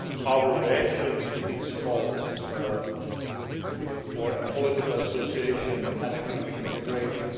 our reactions to those calls for a political association and economic integration.